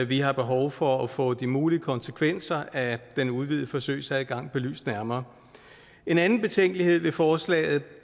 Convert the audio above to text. vi har behov for at få de mulige konsekvenser af den udvidede forsøgsadgang belyst nærmere en anden betænkelighed ved forslaget